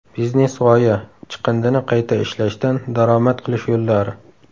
Biznes-g‘oya: chiqindini qayta ishlashdan daromad qilish yo‘llari.